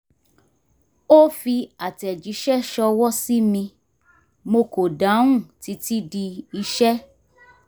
ó fi àtẹ̀jíṣẹ́ ṣọwọ́ sí mi mo kò dáhùn títí di iṣẹ́